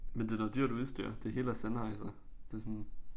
Men det da dyrt udstyr det hele er Sennheiser det sådan